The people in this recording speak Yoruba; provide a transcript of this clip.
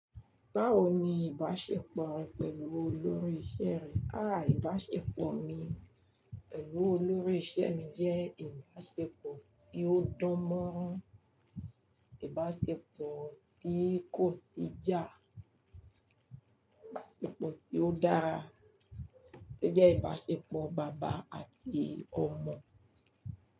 Báwo ni ìbáṣepọ̀ rẹ pẹ̀lú olórí iṣẹ́ rẹ? Ìbáṣepọ̀ mi pẹ̀lú olórí iṣẹ́ mi jẹ́ ìbáṣepọ̀ tí ó dánmọ́nrán, ìbáṣepọ̀ tí kò sì ijá, ìbáṣepọ̀ tí ó dára. Ó jẹ́ ìbáṣepọ̀ bàbá àti ọmọ.